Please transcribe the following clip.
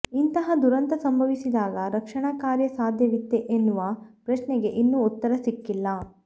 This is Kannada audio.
ಇಂತಹ ದುರಂತ ಸಂಭವಿಸಿದಾಗ ರಕ್ಷಣಾ ಕಾರ್ಯ ಸಾಧ್ಯವಿತ್ತೇ ಎನ್ನುವ ಪ್ರಶ್ನೆಗೆ ಇನ್ನೂ ಉತ್ತರ ಸಿಕ್ಕಿಲ್ಲ